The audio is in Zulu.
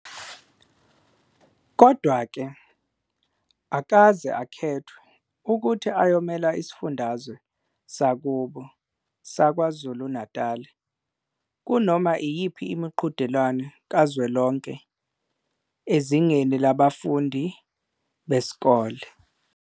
Kodwa-ke, akakaze akhethwe ukuthi ayomela isifundazwe sakubo saKwaZulu-Natali kunoma iyiphi imiqhudelwano kazwelonke ezingeni labafundi besikole.